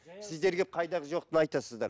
сіздер келіп қайдағы жоқтыны айтасыздар